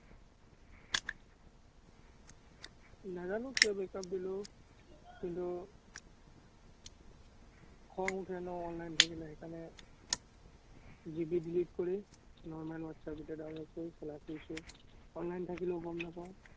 নাজানো কিয় break-up দিলো। কিন্তু, খং উঠে ন online থাকিলে, সেইকাৰণে delete কৰি normal whatsapp এতিয়া download কৰি চলাই ফুৰিছো। online থাকিলেও গম নাপাওঁ।